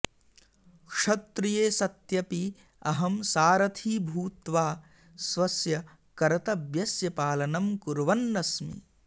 क्षत्रिये सत्यपि अहं सारथी भूत्वा स्वस्य कर्तव्यस्य पालनं कुर्वन्नस्मि